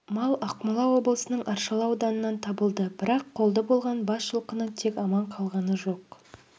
мал ақмола облысының аршалы ауданынан табылды бірақ қолды болған бас жылқының тек аман қалғаны жоқ